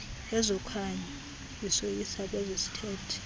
kwezokhanyo zisoyisa ezesithethe